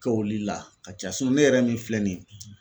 Kɛ oli la ka ca ne yɛrɛ min filɛ nin ye